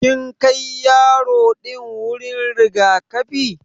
Kin Kai yaro din wuri rigakafi?